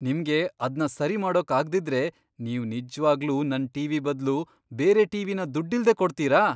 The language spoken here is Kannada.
ನಿಮ್ಗೆ ಅದ್ನ ಸರಿಮಾಡೋಕ್ ಆಗ್ದಿದ್ರೆ ನೀವ್ ನಿಜ್ವಾಗ್ಲೂ ನನ್ ಟಿ.ವಿ. ಬದ್ಲು ಬೇರೆ ಟಿ.ವಿ.ನ ದುಡ್ಡಿಲ್ದೇ ಕೊಡ್ತೀರಾ?